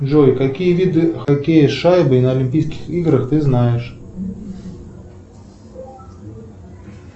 джой какие виды хоккея с шайбой на олимпийских играх ты знаешь